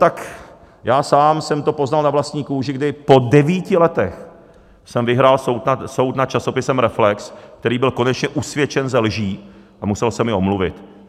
Tak já sám jsem to poznal na vlastní kůži, kdy po devíti letech jsem vyhrál soud nad časopisem Reflex, který byl konečně usvědčen ze lží a musel se mi omluvit.